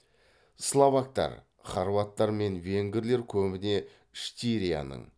словактар хорваттар мен венгрлер көбіне штирияның